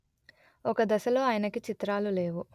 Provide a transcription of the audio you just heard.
ఒక దశలో ఆయనకి చిత్రాలు లేవు